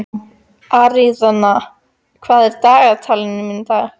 Aríaðna, hvað er á dagatalinu í dag?